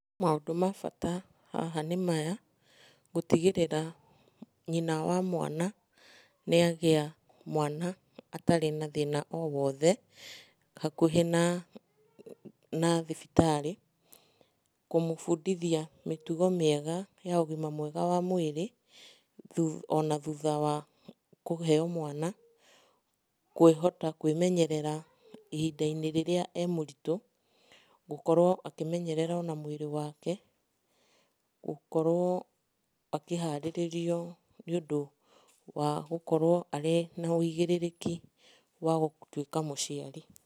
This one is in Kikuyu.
Maũndũ mabata haha nĩ maya, gũtigĩrĩra nyina wa mwana nĩ agĩa mwana atarĩ na thĩna o wothe hakuhĩ na thibitarĩ, kũmũbundithia mĩtugo mĩega ya ũgima mwega wa mwĩrĩ ona thutha wa kũheo mwana, kwĩhota kwĩmenyerera ihinda-inĩ rĩrĩa e mũritũ, gũkorwo akĩmenyerera ona mwĩrĩ wake, gũkorwo akĩharĩrĩrio nĩ ũndũ wa gũkorwo arĩ na ũigĩrĩrĩki wa gũtuĩka mũciari.